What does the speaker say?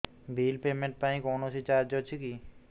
bill payment ପାଇଁ କୌଣସି charge ଅଛି କି